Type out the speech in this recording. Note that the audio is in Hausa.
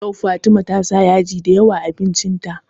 Yau Fatima ta sa yaji da yawa a abincin ta